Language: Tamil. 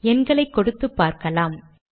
எண்களை கொடுத்தும் பார்க்கலாம்